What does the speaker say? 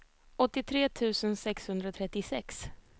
åttiotre tusen sexhundratrettiosex